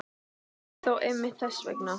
Kannski þó einmitt þess vegna.